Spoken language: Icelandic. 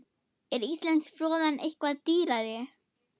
Er íslenska froðan eitthvað dýrari?